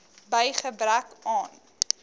by gebrek aan